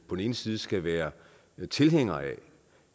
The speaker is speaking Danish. den ene side skal være tilhængere af